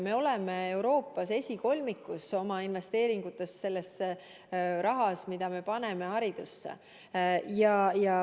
Me oleme Euroopas oma investeeringutega esikolmikus, selle rahaga, mida me paneme haridusse.